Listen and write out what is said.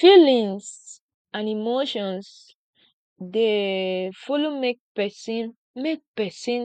feelings and emotions dey follow make pesin make pesin